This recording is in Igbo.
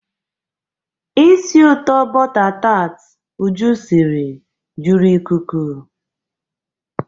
Isi ụtọ bọta taat Uju siri juru ikuku.